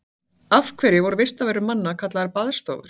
Af hverju voru vistarverur manna kallaðar baðstofur?